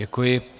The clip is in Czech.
Děkuji.